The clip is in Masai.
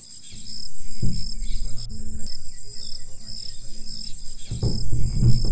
Eikilikuana Serkali meitodolu aajo olenye Olchamba.